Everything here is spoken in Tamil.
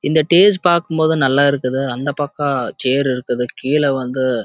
இந்த பாக்க நல்ல இருக்குது இந்த பாகம் சைரஸ் இருக்குது கீழ வந்து